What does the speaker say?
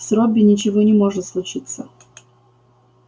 с робби ничего не может случиться